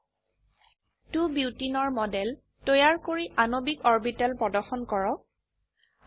এতিয়া 2 বোটেনে 2 বিউটেন এৰ মডেল তৈয়াৰ কৰি আণবিক অৰবিটেল প্ৰদৰ্শন কৰক